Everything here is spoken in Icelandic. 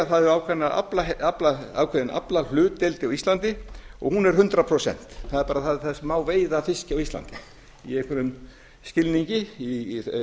það er ákveðin aflahlutdeild á íslandi og hún er hundrað prósent það er bara það sem má veiða af fiski á íslandi í einhverjum skilningi í